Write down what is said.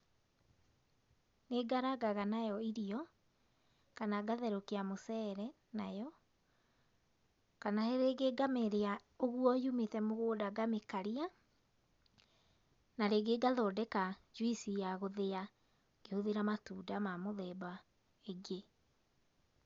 Nĩ ngarangaga nayo irio, kana ngatherukia mũcere nayo, kana rĩngĩ ngamĩrĩa ũguo yumĩte mũgũnda ngamĩkaria, na rĩngĩ ngathondeka njuici ya gũthĩa ngĩhũthĩra matunda ma mĩthemba ĩngĩ.